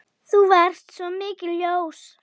Þú varst svo mikið ljós.